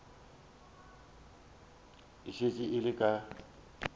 e šetše e le ka